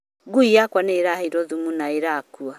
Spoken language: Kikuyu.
Ngũi yakwa nĩ ĩhiirwo thumu na ĩrakua